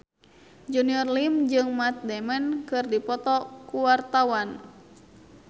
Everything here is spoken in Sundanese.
Junior Liem jeung Matt Damon keur dipoto ku wartawan